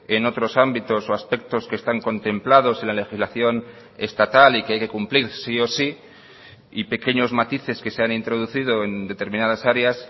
en otros ámbitos o aspectos que están contemplados en la legislación estatal y que hay que cumplir sí o sí y pequeños matices que se han introducido en determinadas áreas